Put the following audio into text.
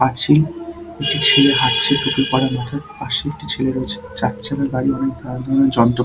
আছি একটি ছেলে হাঁটছে টুপি পরা মাথায় পাশে একটি ছেলে রয়েছে চার চাকার গাড়ি অনেক কালো রং এর যন্ত্র--